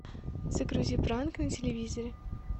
загрузи пранк на телевизоре